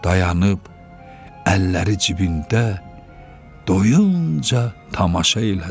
Dayanıb, əlləri cibində doyuncə tamaşa elədi.